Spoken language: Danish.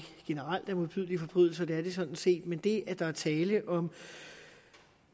generelt er modbydelige forbrydelser det er de sådan set men det at der er tale om